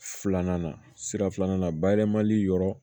Filanan na sira filanan na bayɛlɛmali yɔrɔ